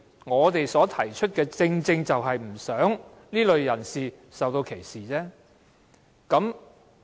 我提出這項修正案，正正不希望這類人士受到歧視。